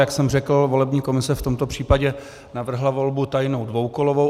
Jak jsem řekl, volební komise v tomto případě navrhla volbu tajnou dvoukolovou.